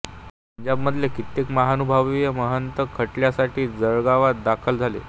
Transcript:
पंजाबमधले कित्येक महानुभावीय महंत खटल्यासाठी जळगावात दाखल झाले